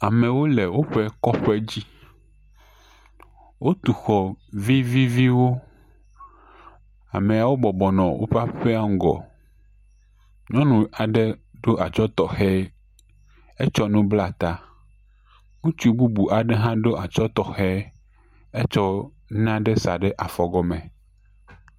Amewo le woƒe kɔƒe dzi. Wotu xɔ viviviwo. Ameawo bɔbɔ nɔ woƒe aƒea ŋgɔ. Nyɔnu aɖe ɖo atsɔ̃ tɔxɛ. Etsɔ nu bla ta. Ŋutsu bubu aɖe hã ɖo atsɔ̃ tɔxɛ. Etsɔ nane sa ɖe afɔ gɔme.